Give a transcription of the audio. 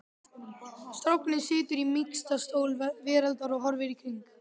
Strákurinn situr í mýksta stól veraldar og horfir í kring